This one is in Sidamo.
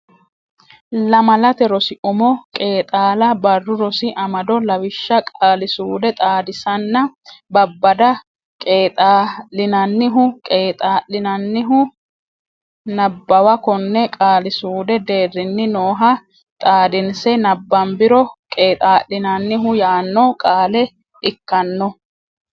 Lamalate Rosi Umo Qeexaala Barru Rosi Amado Lawishsha Qaali suude xaadisanna babbada qeexaa l inannihu qeexaa linannihu Nabbawa konne qaali suudu deerrinni nooha xaadinse nabbambiro qeexaa linannihu yaanno qaale ikkanno.